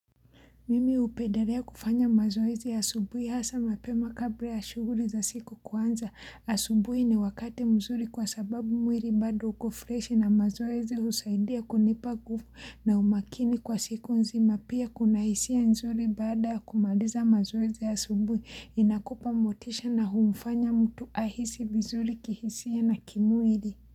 Mimi hupedelea kufanya mazoezi ya asubuhi hasa mapema kabla ya shuhuli za siku kuanza. Asubuhi ni wakati mzuri kwa sababu mwiri bado uko fresh na mazoezi usaidia kunipa nguvu na umakini kwa siku nzima. Pia kuna hisia nzuri bada kumaliza mazoezi ya subuhi inakupa motisha na humfanya mtu ahisi vizuri kihisia na kimwiri.